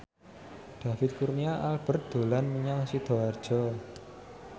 David Kurnia Albert dolan menyang Sidoarjo